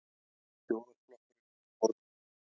Þjóðarflokkurinn að borðinu?